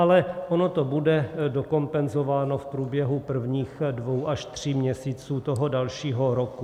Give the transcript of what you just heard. Ale ono to bude dokompenzováno v průběhu prvních dvou až tří měsíců toho dalšího roku.